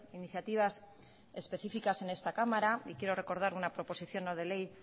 iniciativas específicas en esta cámara y quiero recordar una proposición no de ley